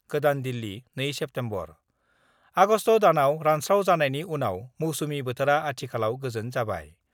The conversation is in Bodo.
गोदान दिल्ली, 2 सेप्तेम्बर:आगस्ट दानाव रानस्रावजानायनि उनाव मौसुमि बोथोरा आथिखालाव गोजोन जाबाय।